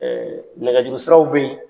nɛgɛjuru siraw bɛ ye.